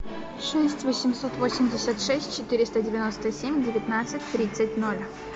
шесть восемьсот восемьдесят шесть четыреста девяносто семь девятнадцать тридцать ноль